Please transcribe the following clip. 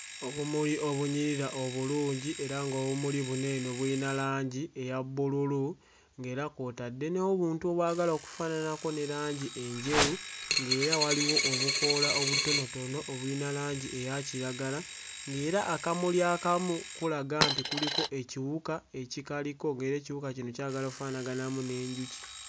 Obumuli obunyirira obulungi era ng'obumuli buno eno buyina langi eya bbululu ng'era kw'otadde n'obuntu obwagala okufaananako ne langi enjeru ng'era waliwo obukoola obutonotono obuyina langi eya kiragala ng'era akamuli akamu kulaga nti kuliko ekiwuka ekikaliko ng'era ekiwuka kino kyagala offaanaganamu n'enjuki.